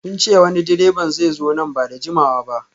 Sun ce wani direban zai zo nan ba da jimawa ba